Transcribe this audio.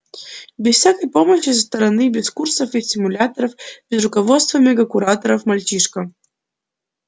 без всякой помощи со стороны без курсов и стимуляторов без руководства мега-куратора мальчишка